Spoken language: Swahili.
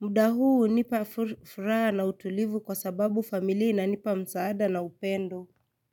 muda huu hunipa furaha na utulivu kwa sababu familia inanipa msaada na upendo.